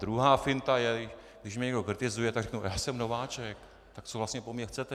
Druhá finta je, když mě někdo kritizuje, tak řeknu: Já jsem nováček, tak co vlastně po mně chcete?